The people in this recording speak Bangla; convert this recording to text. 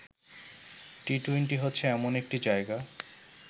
টি-টোয়েন্টি হচ্ছে এমন একটি জায়গা